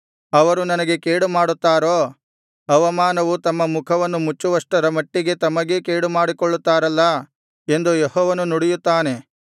ಅವರು ನನಗೆ ಕೇಡುಮಾಡುತ್ತಾರೋ ಅವಮಾನವು ತಮ್ಮ ಮುಖವನ್ನು ಮುಚ್ಚುವಷ್ಟರ ಮಟ್ಟಿಗೆ ತಮಗೇ ಕೇಡುಮಾಡಿಕೊಳ್ಳುತ್ತಾರಲ್ಲಾ ಎಂದು ಯೆಹೋವನು ನುಡಿಯುತ್ತಾನೆ